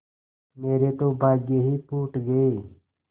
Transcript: मेरे तो भाग्य ही फूट गये